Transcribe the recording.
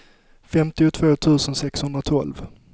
femtiotvå tusen sexhundratolv